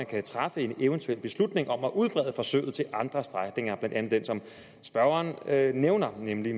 kan træffe en eventuel beslutning om at udbrede forsøget til andre strækninger blandt andet den som spørgeren nævner nemlig